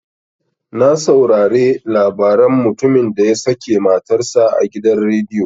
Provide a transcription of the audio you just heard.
Na saurare labaran mutumin da ya sake matar sa a gidan rediyo.